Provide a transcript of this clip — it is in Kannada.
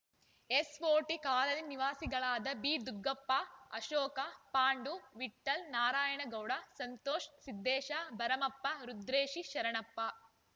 ಎಸ್‌ಓಜಿ ಕಾಲನಿ ನಿವಾಸಿಗಳಾದ ಬಿದುಗ್ಗಪ್ಪ ಅಶೋಕ ಪಾಂಡು ವಿಠ್ಠಲ್‌ ನಾರಾಯಣಗೌಡ ಸಂತೋಷ್‌ ಸಿದ್ದೇಶ ಭರಮಪ್ಪ ರುದ್ರೇಶಿ ಶರಣಪ್ಪ